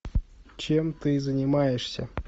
чем ты занимаешься